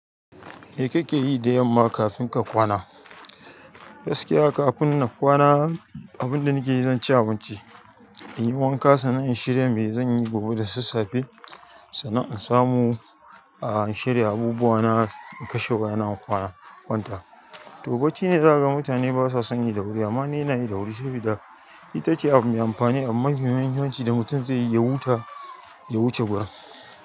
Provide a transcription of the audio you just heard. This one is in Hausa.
Me kake yi da yamma kafin ka kwana? Gaskiya kafin na kwana, abin da nake yi, zan ci abinci, in yi wanka sannan in shirya me zan yi gobe da sassafe. Sannan in samu a in shirya abubuwa na kashe waya in kwana. Kwanta, to bacci ne za ka ga mutane ba sa sanyi da wuri amma ni ina yi da wuri saboda ita ce abu mai amfani abu mafi muhimmanci da mutum zai yi ya huta ya wuce gurin.